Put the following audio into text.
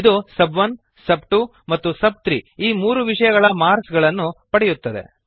ಇದು ಸಬ್1 ಸಬ್2 ಮತ್ತು ಸಬ್3 ಈ ಮೂರು ವಿಷಯಗಳ ಮಾರ್ಕ್ಸ್ ಗಳನ್ನು ಪಡೆಯುತ್ತದೆ